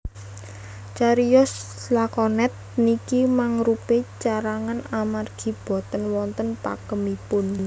Cariyos lakonet niki mangrupi carangan amargi boten wonten pakemipun